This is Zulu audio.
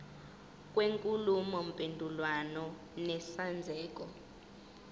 kwenkulumo mpendulwano nesenzeko